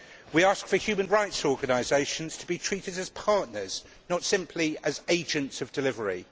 We ask for human rights organisations to be treated as partners and not simply as agents of delivery.